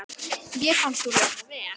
Mér fannst hún hljóma vel.